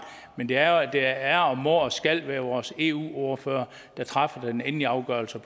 men det er det er og må og skal være vores eu ordfører der træffer den endelige afgørelse